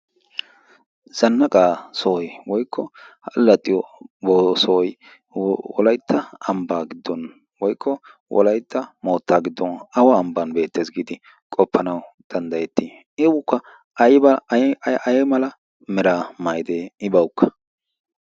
zannaqaa sohoy woykko ha laxiyo sohoy wolaytta ambbaa giddon woikko wolaytta mootta giddon awa ambban beettees giidi qoppanawu danddayettii i ukka ay mala mera mayidee i bawukka